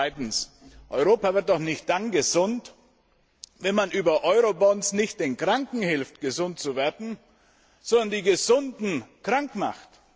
Zweitens Europa wird doch nicht dann gesund, wenn man über Eurobonds nicht den Kranken hilft, gesund zu werden, sondern die Gesunden krank macht!